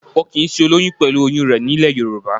Wọn kìí sin olóyún pẹ̀lú oyún rẹ̀ nílẹ̀ Yorùbá